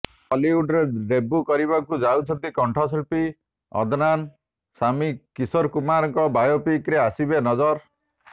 ବଲିଉଡ୍ରେ ଡେବ୍ୟୁ କରିବାକୁ ଯାଉଛନ୍ତି କଣ୍ଠଶିଳ୍ପୀ ଅଦନାନ ସାମୀ କିଶୋର କୁମାରଙ୍କ ବାୟୋପିକରେ ଆସିବେ ନଜର